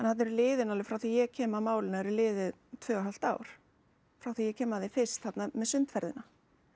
þarna eru liðin alveg frá því að ég kem að málinu er liðið tvö og hálft ár frá því að ég kem að því fyrst þarna með sundferðina